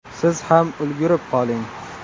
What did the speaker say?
Siz ham ulgurib qoling!